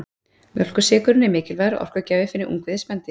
Mjólkursykurinn er mikilvægur orkugjafi fyrir ungviði spendýra.